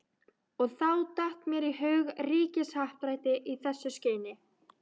Og þá datt mér í hug ríkishappdrætti í þessu skyni.